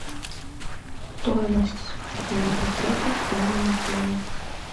стоимость свадебного пакета в данном отеле